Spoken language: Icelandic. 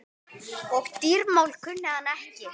Og dýramál kunni hann ekki.